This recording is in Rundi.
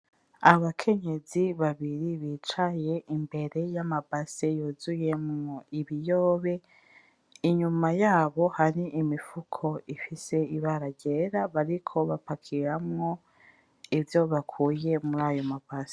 Abakenyezi babiri bicaye imbere y'amabase yuzuyemwo ibiyobe , Inyuma yabo hari imifuko ifise ibara ryera bariko bapakiramwo ivyo bakuye murayo m'abase.